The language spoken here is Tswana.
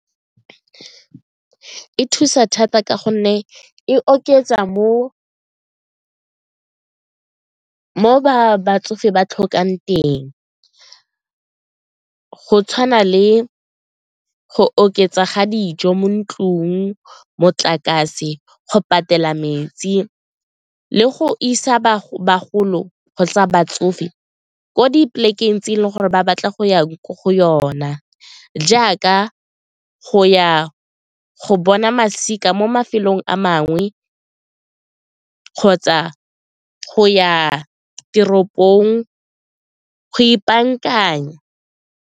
E thusa thata ka gonne e oketsa mo batsofe ba tlhokang teng go tshwana le go oketsa ga dijo mo ntlong, motlakase, go patela metsi le go isa batsofe ko di polekeng tse e leng gore ba batla go ya ko go yona jaaka go ya go bona masika mo mafelong a mangwe kgotsa go ya teropong go ipankanya.